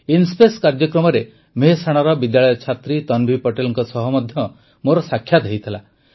IN-SPACe କାର୍ଯ୍ୟକ୍ରମରେ ମେହେସାଣାର ବିଦ୍ୟାଳୟ ଛାତ୍ରୀ ତନଭି ପଟେଲଙ୍କ ସହ ମଧ୍ୟ ମୋର ସାକ୍ଷାତ ହୋଇଥିଲା